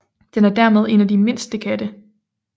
Den er dermed en af de mindste katte